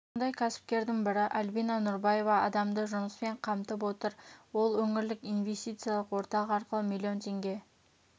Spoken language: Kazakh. сондай кәсіпкердің бірі альбина нұрбаева адамды жұмыспен қамтып отыр ол өңірлік инвестициялық орталық арқылы миллион теңге